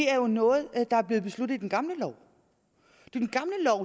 er noget der er blevet besluttet i den gamle lov